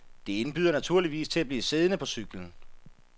Det indbyder naturligvis til at blive siddende på cyklen.